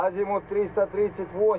Azimut 338.